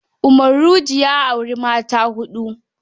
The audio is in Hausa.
Umaruge ya auri mata ta huɗu.